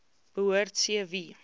behoort c wie